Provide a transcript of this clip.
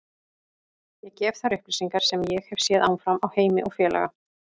Ég gef þær upplýsingar sem ég hef séð áfram á Heimi og félaga.